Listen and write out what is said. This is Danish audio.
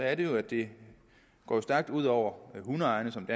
er det jo at det går stærkt ud over hundeejerne som